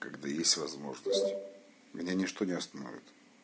когда есть возможность меня ничто не остановит